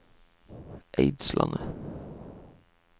Eidslandet